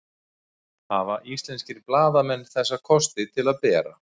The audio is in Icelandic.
hafa íslenskir blaðamenn þessa kosti til að bera